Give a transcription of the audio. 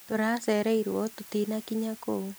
Tũracereirwo tũtinakinya kũu